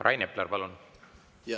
Rain Epler, palun!